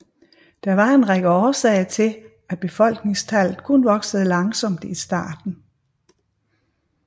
Der var en række årsager til at befolkningstallet kun voksede langsomt i starten